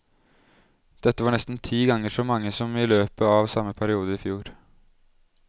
Dette var nesten ti ganger så mange som i løpet av samme periode i fjor.